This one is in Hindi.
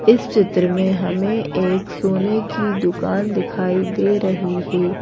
इस चित्र में हमें एक सोने की दुकान दिखाई दे रही है।